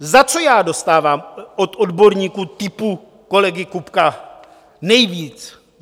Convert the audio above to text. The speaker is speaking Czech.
Za co já dostávám od odborníků typu kolegy Kubka nejvíc?